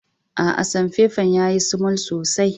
Aa, samfefan ya yi sumul sosai.